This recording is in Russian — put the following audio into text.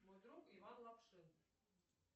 мой друг иван лапшин